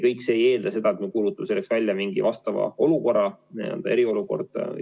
Kõik see ei eelda seda, et me kuulutame selleks välja mingi vastava olukorra, näiteks eriolukorra.